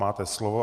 Máte slovo.